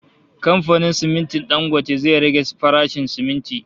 Kamfanin simintin Dangote zai rage farashin siminti